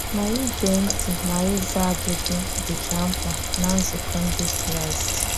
Ma íge ntị ma íza ajụ́jụ dị́cha mkpa ná nzukọ Ndị Kraịst.